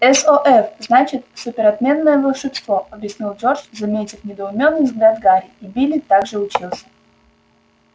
сов значит супер отменное волшебство объяснил джордж заметив недоумённый взгляд гарри и билли так же учился